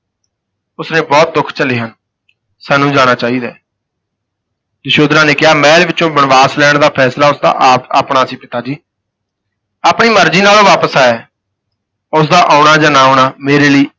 ਉਸ ਨੇ ਬਹੁਤ ਦੁਖ ਝੱਲੇ ਹਨ, ਸਾਨੂੰ ਜਾਣਾ ਚਾਹੀਦਾ ਹੈ ਯਸ਼ੋਧਰਾ ਨੇ ਕਿਹਾ ਮਹਿਲ ਵਿਚੋਂ ਬਣਵਾਸ ਲੈਣ ਦਾ ਫੈਸਲਾ ਉਸ ਦਾ ਆਪ ਆਪਣਾ ਸੀ ਪਿਤਾ ਜੀ, ਆਪਣੀ ਮਰਜੀ ਨਾਲ ਉਹ ਵਾਪਸ ਆਇਆ ਹੈ, ਉਸ ਦਾ ਆਉਣਾ ਜਾਂ ਨਾ ਆਉਣਾ ਮੇਰੇ ਲਈ